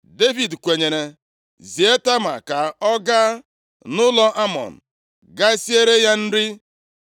Devid kwenyere, zie Tama ka ọ gaa nʼụlọ Amnọn gaa siere ya nri.